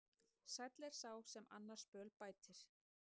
Sæll er sá sem annars böl bætir.